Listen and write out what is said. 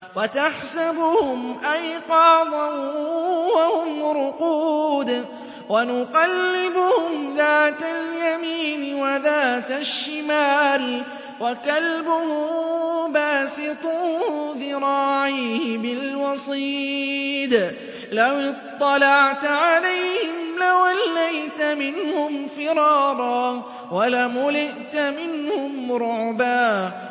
وَتَحْسَبُهُمْ أَيْقَاظًا وَهُمْ رُقُودٌ ۚ وَنُقَلِّبُهُمْ ذَاتَ الْيَمِينِ وَذَاتَ الشِّمَالِ ۖ وَكَلْبُهُم بَاسِطٌ ذِرَاعَيْهِ بِالْوَصِيدِ ۚ لَوِ اطَّلَعْتَ عَلَيْهِمْ لَوَلَّيْتَ مِنْهُمْ فِرَارًا وَلَمُلِئْتَ مِنْهُمْ رُعْبًا